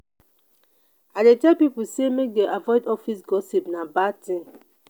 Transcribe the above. i dey tell pipo sey make dem avoid office gossip na bad tin.